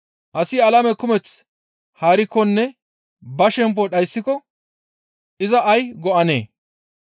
Asi alame kumeth haarikkonne ba shemppo dhayssiko iza ay go7anee?